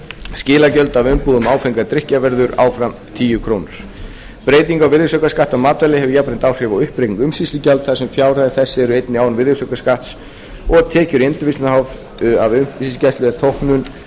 skilagjald af umbúðum áfengra drykkja verður áfram tíu komma núll núll krónur breyting á virðisaukaskatti á matvæli hefur jafnframt áhrif á uppreikning umsýslugjalds þar sem fjárhæðir þess eru einnig án virðisaukaskatts og tekjur endurvinnslunnar h f af umsýslugjaldi er þóknun ásamt